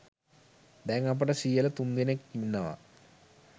දැන් අපට සීයලා තුන්දෙනෙක් ඉන්නවා.